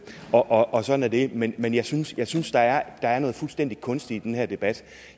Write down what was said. og og sådan er det men men jeg synes jeg synes der er noget fuldstændig kunstigt i den her debat